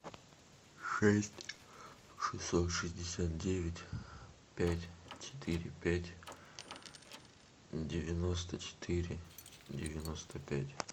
шесть шестьсот шестьдесят девять пять четыре пять девяносто четыре девяносто пять